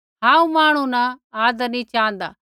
हांऊँ मांहणु न आदर नैंई च़ाँहदा